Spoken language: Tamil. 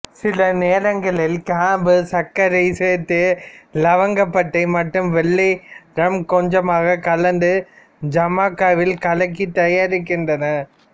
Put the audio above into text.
சில நேரங்களில் கிராம்பு சர்க்கரை சேர்த்து இலவங்கப்பட்டை மற்றும் வெள்ளை ரம் கொஞ்சமாக கலந்து ஜமைக்காவில் கலக்கி தயாரிக்கின்றனர்